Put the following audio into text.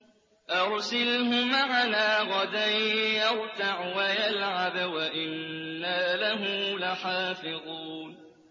أَرْسِلْهُ مَعَنَا غَدًا يَرْتَعْ وَيَلْعَبْ وَإِنَّا لَهُ لَحَافِظُونَ